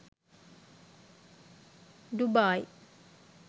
dubai